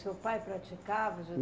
Seu pai praticava